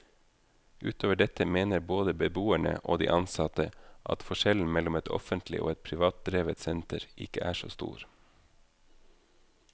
Utover dette mener både beboerne og de ansatte at forskjellen mellom et offentlig og et privatdrevet senter ikke er så stor.